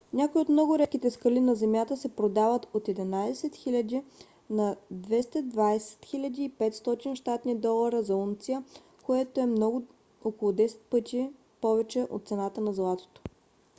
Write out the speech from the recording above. някои от много редките скали на земята се продават от 11 000 на 22 500 щ.д. за унция което е около 10 пъти повече от цената на златото